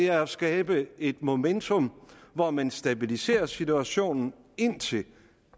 er at skabe et momentum hvor man stabiliserer situationen indtil